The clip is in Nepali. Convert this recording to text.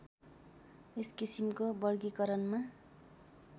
यस किसिमको वर्गीकरणमा